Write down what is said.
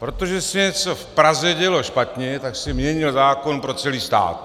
Protože se něco v Praze dělo špatně, tak se měnil zákon pro celý stát.